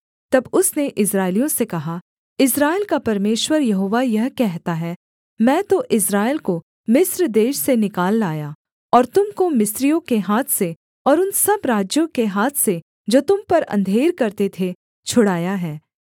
तब उसने इस्राएलियों से कहा इस्राएल का परमेश्वर यहोवा यह कहता है मैं तो इस्राएल को मिस्र देश से निकाल लाया और तुम को मिस्रियों के हाथ से और उन सब राज्यों के हाथ से जो तुम पर अंधेर करते थे छुड़ाया है